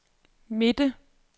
midte